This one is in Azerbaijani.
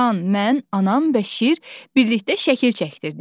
Can, mən, anam və şir birlikdə şəkil çəkdirdik.